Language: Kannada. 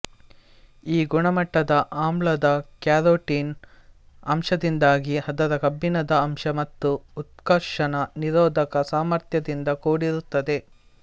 ಈ ಗುಣಮಟ್ಟದ ಆಮ್ಲಾದ ಕ್ಯಾರೋಟಿನ್ ಅಂಶದಿಂದಾಗಿ ಅದರ ಕಬ್ಬಿಣದ ಅಂಶ ಮತ್ತು ಉತ್ಕರ್ಷಣ ನಿರೋಧಕ ಸಾಮರ್ಥ್ಯದಿಂದ ಕೂಡಿರುತ್ತದೆ